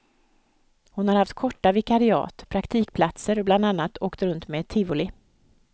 Hon har haft korta vikariat, praktikplatser och bland annat åkt runt med ett tivoli.